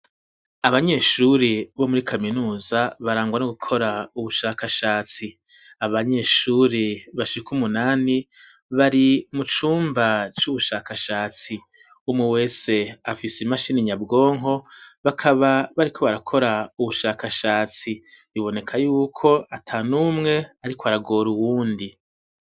Abanyeshuri bo muri kaminuza barangwa no gukora ubushakashatsi, abanyeshuri bashika umunani, bari mu cumba c'ubushakashatsi ,umwe, wese afise imashini nyabwonko bakaba bariko barakora ubushakashatsi ,biboneka yuko atan' umwe ariko aragora uwundi.